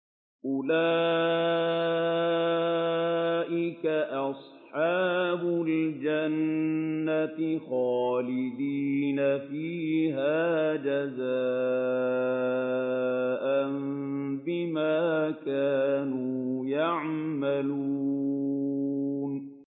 أُولَٰئِكَ أَصْحَابُ الْجَنَّةِ خَالِدِينَ فِيهَا جَزَاءً بِمَا كَانُوا يَعْمَلُونَ